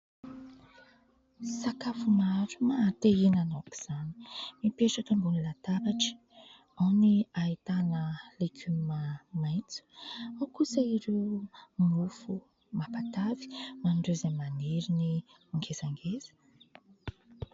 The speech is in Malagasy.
Sakafo maro maha te hihinana aoka izany mipetraka ambonin'ny lataratra, ao ny ahitana legioma maitso, ao kosa ireo mofo mampatavy ho an'ireo izay maniry ny ngezangeza.